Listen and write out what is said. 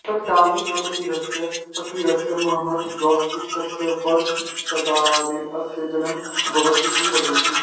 तत्कालीनप्रसिद्धस्य फकीरस्य महम्मद गौस इत्यस्य वरदप्रसादेन अस्य जन्म अभवत् इति वदन्ति